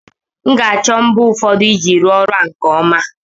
M ga-achọ mbọ ụfọdụ iji rụọ ọrụ a nke ọma